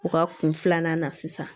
U ka kun filanan na sisan